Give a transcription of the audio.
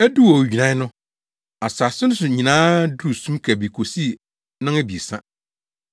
Eduu owigyinae no, asase no so nyinaa duruu sum kabii kosii nnɔnabiɛsa.